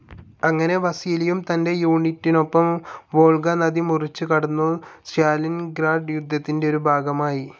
അങ്ങനെ വസീലിയും തന്റെ യൂണിറ്റിനൊപ്പം വോൾഗ നദി മുറിച്ചു കടന്നു സ്റ്റാലിൻഗ്രാഡ് യുദ്ധത്തിന്റെ ഒരു ഭാഗമായി.